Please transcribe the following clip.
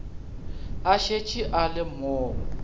a šetše a le mo